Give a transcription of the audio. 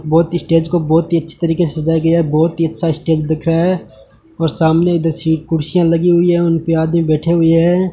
बहोत स्टेज को बहोत ही अच्छी तरीके से सजाया गया बहोत ही अच्छा स्टेज दिख रहा है और सामने इधर सीट कुर्सियां लगी हुई है उनपे आदमी बैठे हुए हैं।